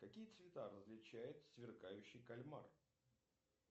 какие цвета различает сверкающий кальмар